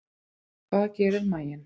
Hvað gerir maginn?